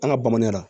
An ka bamananya la